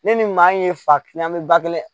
Ne ni maa in ye fa kiliyan bɛ ba kelen